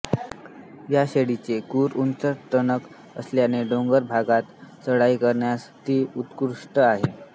या शेळीचे खूर उंच टणक असल्याने डोंगराळ भागात चराई करण्यास ती उत्कृष्ट आहे